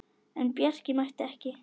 En Bjarki mætti ekki.